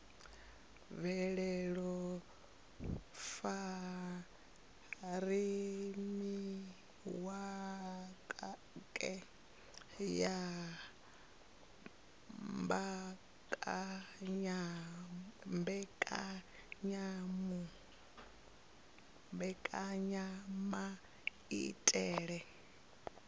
bveledza furemiweke ya mbekanyamaitele a